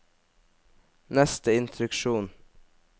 neste instruksjon